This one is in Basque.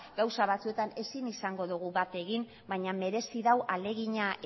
gauza batzuetan ezin izango dugu bat egin baina merezi du ahalegina